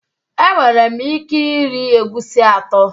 Enwere m ike iri egusi atọ